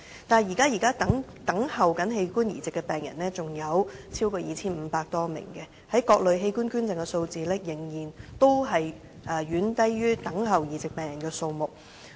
但是，現在等候器官移植的病人有超過 2,500 名，各類器官捐贈的數字，仍然遠低於等候移植病人的數目。